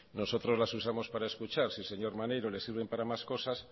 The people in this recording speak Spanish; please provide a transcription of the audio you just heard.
nosotros las usamos para escuchar si al señor maneiro le sirven para más cosas